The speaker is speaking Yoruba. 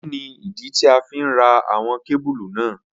Kini idi ti a fi n ra awọn kebulu naa?